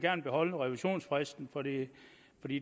beholde revisionsfristen for det